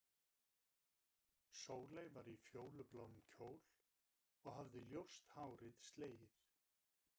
Sóley var í fjólubláum kjól og hafði ljóst hárið slegið.